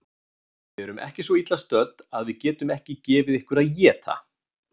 Við erum ekki svo illa stödd að við getum ekki gefið ykkur að éta